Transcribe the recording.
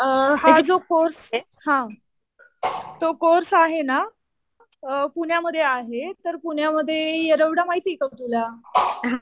हा जो कोर्स आहे, तो कोर्स आहे ना पुण्यामध्ये आहे. पुण्यामध्ये येरवडा माहिती का तुला?